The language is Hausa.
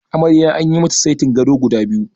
Amarya anyi mata saiti gado guda biyu.